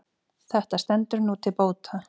Þetta stendur nú til bóta.